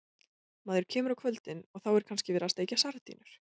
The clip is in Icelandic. Maður kemur á kvöldin og þá er kannski verið að steikja sardínur.